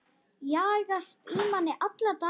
Jagast í manni alla daga.